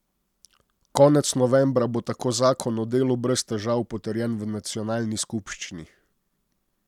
Konec novembra bo tako zakon o delu brez težav potrjen v nacionalni skupščini.